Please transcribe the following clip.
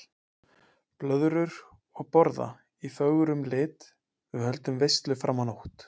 Blöðrur og borða í fögrum lit, við höldum veislu fram á nótt.